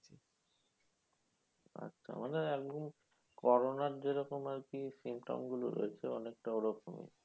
আচ্ছা মানে একদম corona র যেরকম আরকি symptom গুলো রয়েছে অনেকটা ওরকমই।